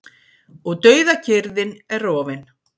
Og dauðakyrrðin er rofin.